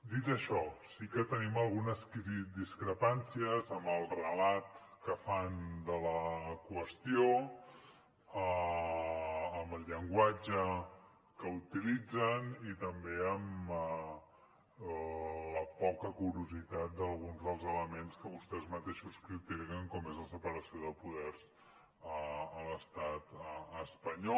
dit això sí que tenim algunes discrepàncies amb el relat que fan de la qüestió amb el llenguatge que utilitzen i també amb la poca curositat d’alguns dels elements que vostès mateixos critiquen com és la separació de poders a l’estat espanyol